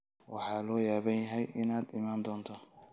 Waxaan la yaabanahay inaad iman doonto